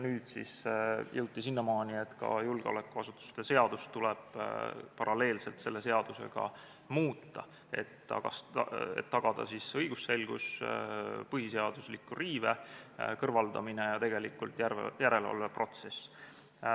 Nüüd on siis jõutud sinnamaale, et ka julgeolekuasutuste seadust tuleb paralleelselt selle seadusega muuta, et tagada õigusselgus, põhiseadusliku riive kõrvaldamine ja tegelikult järelevalveprotsess.